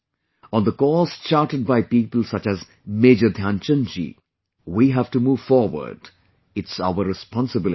On the course charted by people such as Major Dhyanchand ji we have to move forward...it's our responsibility